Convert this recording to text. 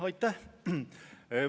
Aitäh!